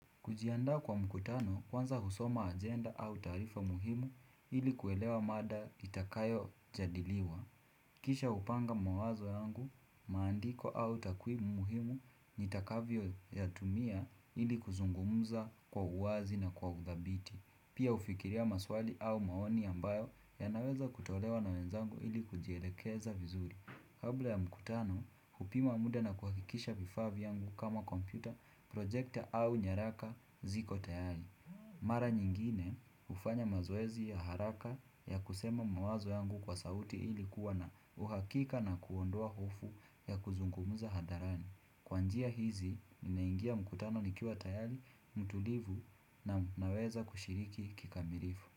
Kujiandaa kwa mkutano, kwanza husoma ajenda au taarifa muhimu ili kuelewa mada itakayojadiliwa. Kisha hupanga mawazo yangu, maandiko au takui muhimu nitakavyoyatumia ili kuzungumza kwa uwazi na kwa udhabiti. Pia hufikiria maswali au maoni ambayo ya naweza kutolewa na wenzangu ili kujielekeza vizuri. Kabla ya mkutano, hupima muda na kuhakikisha vifaa vyangu kama kompyuta, projekta au nyaraka ziko tayari. Mara nyingine, hufanya mazoezi ya haraka ya kusema mawazo yangu kwa sauti ili kuwa na uhakika na kuondoa hofu ya kuzungumza hadharani. Kwa njia hizi, ninaingia mkutano nikiwa tayari, mtulivu na naweza kushiriki kikamilifu.